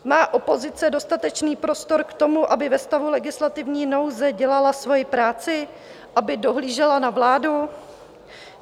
Má opozice dostatečný prostor k tomu, aby ve stavu legislativní nouze dělala svoji práci, aby dohlížela na vládu?